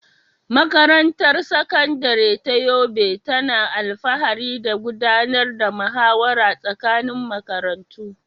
Makarantar Sakandare ta Yobe tana alfahari da gudanar da muhawara tsakanin makarantu.